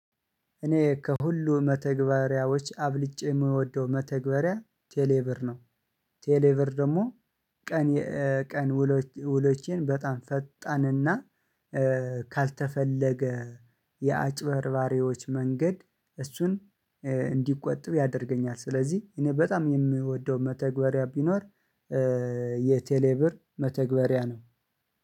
እኔ ከሁሉ መተግበሪያዎች አበልጬ የምወደው መተግበሪያ ቴሌብር ነው። ቴሌብር ደግሞ ቀን ኤ ቀን ውሎች፣ ውሎችን በጣም ፈጣንና ኤ ካልተፈለገ፣ የአጭበርባሪዎች መንገድ እሱን እንድቆጥብ ያደርገኛል። ስለዚህ፣ እኔ በጣም የምወደው መተግበሪያ ቢኖር፣ ኤ የቴሌብር መተግበሪያ ነው።